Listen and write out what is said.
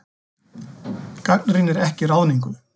Gagnrýnir ekki ráðningu